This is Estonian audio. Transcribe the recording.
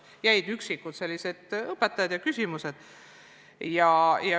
Raskusi esines mõne üksiku õpetaja puhul ja mõningate küsimuste lahendamisel.